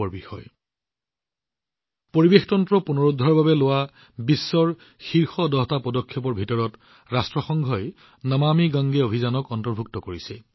ৰাষ্ট্ৰসংঘই পৰিৱেশতন্ত্ৰ পুনৰুদ্ধাৰৰ বাবে বিশ্বৰ শীৰ্ষ দহটা পদক্ষেপত নমামি গংগে অভিযান অন্তৰ্ভুক্ত কৰিছে